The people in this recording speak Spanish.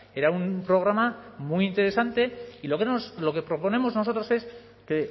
era un programa muy interesante y lo que proponemos nosotros es que